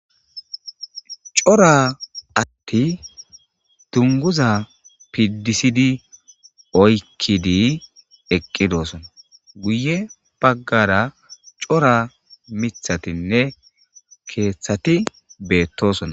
cora atti dunguza pidisidi oykkidi eqqidoosona guye baggara cora mithatinne keeththati beettosona